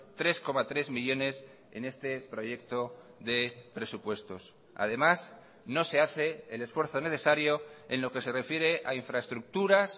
tres coma tres millónes en este proyecto de presupuestos además no se hace el esfuerzo necesario en lo que se refiere a infraestructuras